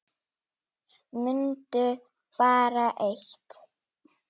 Mundu bara eitt.